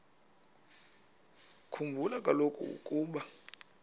khumbula kaloku ukuba